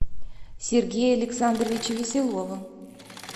сергея александровича веселова